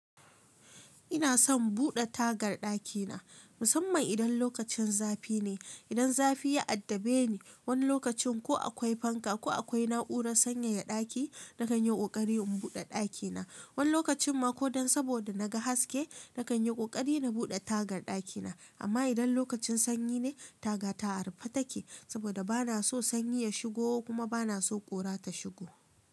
Ina son buɗe tagar ɗakina musamman idan lokacin zafi ne. Idan zafi ya addabe ni wani lokacin ko akwai fanka ko akwai na'urar sanyaya ɗaki, na kan yi ƙoƙari in buɗe ɗakina. Wani lokacin ma ko dan saboda na ga haske na kan yi ƙoƙari na buɗe tagar ɗakina. Amma idan lokacin sanyi ne taga ta arufe take saboda bana so sanyi ya shigo kuma bana so ƙura ta shigo.